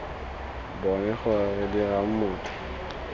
bone gore re dirang motho